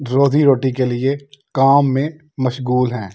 रोजी रोटी के लिए काम में मशगुल हैं।